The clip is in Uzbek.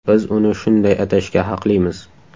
Biz uni shunday atashga haqlimiz!